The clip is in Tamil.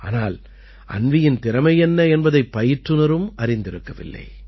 ஆனால் அன்வீயின் திறமை என்ன என்பதைப் பயிற்றுநரும் அறிந்திருக்கவில்லை